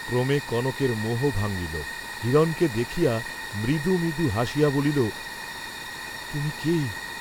ক্রমে কনকের মোহ ভাঙ্গিল, হিরণকে দেখিয়া মৃদু মৃদু হাসিয়া বলিল, তুমি কে?